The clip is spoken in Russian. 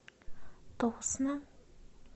тосно